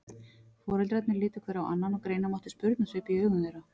Foreldrarnir litu hver á annan og greina mátti spurnarsvip í augum þeirra.